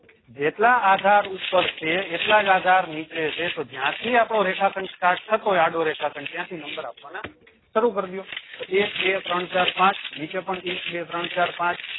જેટલા આધાર ઉપર છે એટલાજ આધાર નીચે છે તો જ્યાં થી આપડો રેખા ખંડ start થતો હોય આડો રેખા ખંડ ત્યાં થી number આપવાના શરૂ કર દિયો તો એક બે ત્રણ ચાર પાંચ નીચે પણ એક બે ત્રણ ચાર પાંચ